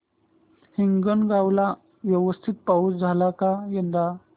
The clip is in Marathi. हिंगणगाव ला व्यवस्थित पाऊस झाला का यंदा